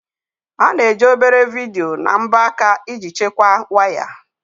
A na-eji obere vidiyo na mbọ aka iji chekwaa waya.